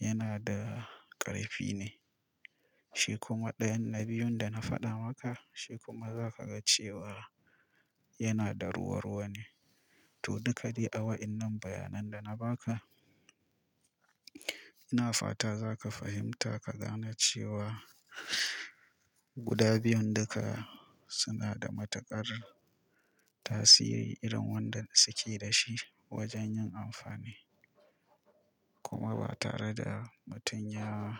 yana da ƙarfi ne. Shi kuma ɗayan na biyun da na faɗa maka shi kuma za ka ga cewa yana da ruwa-ruwa ne. To duka dai a wa'innan bayanan da na ba ka, ina fata za ka fahimta ka gane cewa guda biyun duka suna da matuƙar tasiri irin wanda suke da shi wajen yin amfani. Kuma ba tare da mutum ya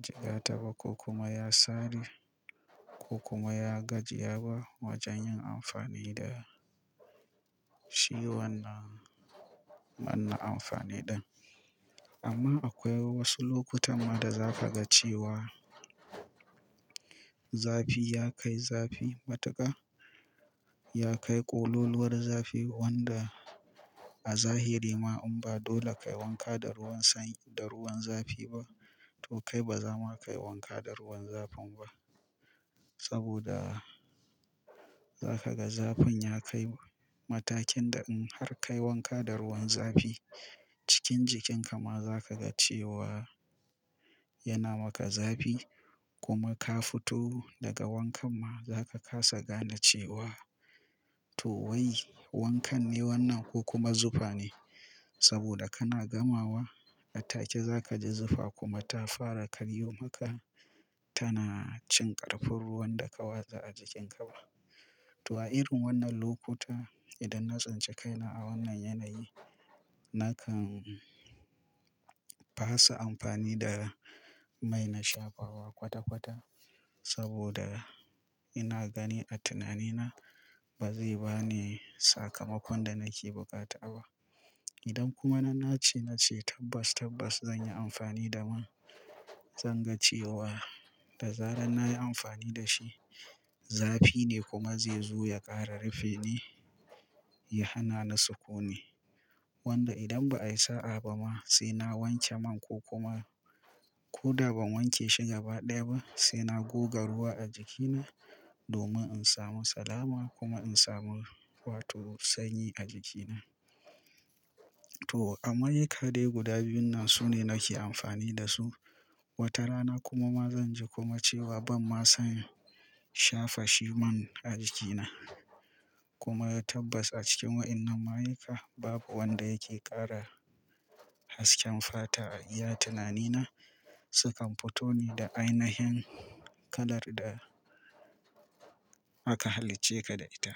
jiga ta ba ko kuma ya sare ko kuma ya gajiya ba wajen yin amfani da shi wannan wannan amfani ɗan. Amma akwai wasu lokutan ma da za ka ga cewa zafi ya kai zafi matuƙa ya kai ƙololuwar zafi wanda a zahiri ma in ba dole ka yi wanka da ruwan sanyi da ruwan zafi ba to kai ba za ma ka yi wanka da ruwan zafin ba. Saboda za ka ga zafin ya kai matakin da in har ka yi wanka da ruwan zafi cikin jikin ka ma za ka ga cewa yana maka zafi kuma ka fito daga wankan ma za ka kasa gane cewa to wai wankan ne wannan ko kuma zufa ne. Saboda kana gamawa a take za ka ji zufa kuma ta fara karyo maka tana cin ƙa fa ruwan da ka watsa a jikin ka ba. To a irin wannan lokuta idan na tsince kai na a wannan yanayi na kan ba su amfani da mai na shafawa kwata-kwata saboda ina gani a tunani na ba zai ba ni sakamakon da nake buƙata ba. Idan kuma na nace nace tabbas tabbas zan yi amfani da man zan ga cewa da zarar nayi amfani da shi zafi ne kuma zai zo ya ƙara rufe ni ya hana ni sukuni. Wanda idan ba a yi sa'a ba ma sai na wanke man ko kuma ko da ban wanke shi gaba ɗaya ba sai na goga ruwa a jikina domin in samu salama kuma in samu wato sanyi a jikina. To a ma'aikade guda biyun nan su ne nake amfani da su. Wata rana kuma ma zan ji kuma cewa ban ma son shafa shi man a jikina. Kuma ya tabbaci cikin wa'innan ma'aika babu wanda yake ƙara hasken fata a iya tunani na sukan fito ne da ainihin kalar da aka halicce ka da ita.